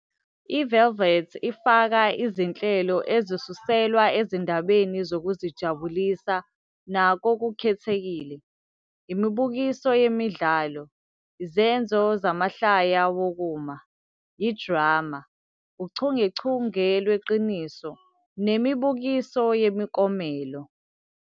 I-Velvet ifaka izinhlelo ezisuselwa ezindabeni zokuzijabulisa nakokukhethekile, imibukiso yemidlalo, izenzo zamahlaya wokuma, idrama, uchungechunge lweqiniso nemibukiso yemiklomelo.